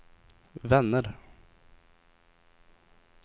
vänner